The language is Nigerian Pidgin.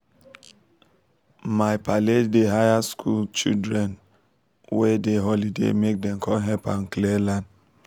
my pale dey hire school children wey dey holiday make them come help am clear land